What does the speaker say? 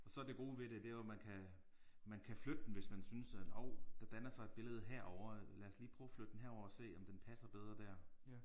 Og så det gode ved det det er jo man kan man kan flytte den hvis man synes at hov der danner sig et billede herovre lad os lige prøve og flytte den herover og se om den passer bedre der